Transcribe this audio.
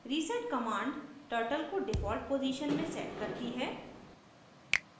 reset command turtle को default position में sets करती है